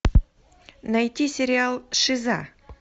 найти сериал шиза